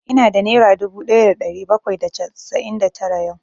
Ina da nera dubu ɗaya da ɗari bakwai da casa'in da tara yau